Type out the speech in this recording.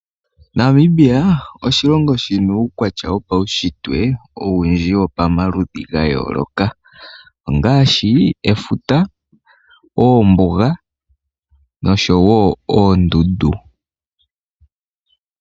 Namibia oshilongo shina uukwatya wopaunshitwe owundji wopamaludhi ga yooloka. Ongaashi efuta, oombuga, noshowo oondundu.